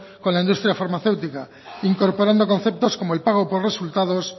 con la industria farmacéutica incorporando conceptos como el pago por resultados